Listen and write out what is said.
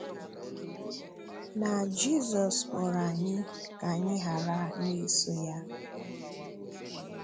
Na Jizọs kpọ̀rọ anyị ka anyị ghara na-èsò Ya.